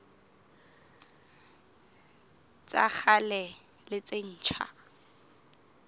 tsa kgale le tse ntjha